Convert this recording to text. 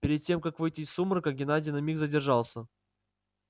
перед тем как выйти из сумрака геннадий на миг задержался